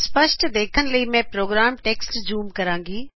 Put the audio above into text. ਸਪਸ਼ਟ ਦੇਖਣ ਲਈ ਮੈਂ ਪ੍ਰੋਗਰਾਮ ਟੈਕਸਟ ਜੂਮ ਕਰਾਗੀ